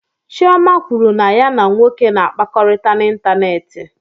Chioma kwuru na ya na nwoke na-akpakọrịta n'ịntanetị.